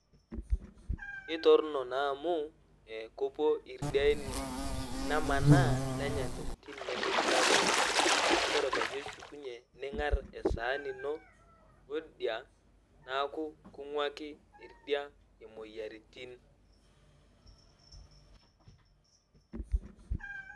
Kentorrono naa amu kepuo ildiain nemanaa nenya ntokitin nemishiakino neeku Ore peyie eshukunyie niing'arr esaani ino oldia neeku king'uaki oldia imoyiaritin.